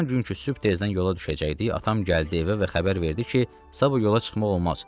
Ammam günkü sübh tezdən yola düşəcəkdik, atam gəldi evə və xəbər verdi ki, sabah yola çıxmaq olmaz.